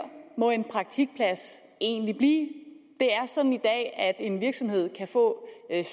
må en praktikplads egentlig blive det er sådan i dag at en virksomhed kan få